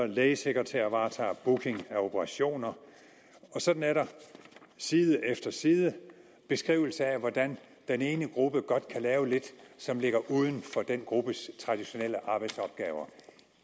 lægesekretærer varetager booking af operationer sådan er der side efter side beskrivelser af hvordan den ene gruppe godt kan lave lidt som ligger uden for den gruppes traditionelle arbejdsopgaver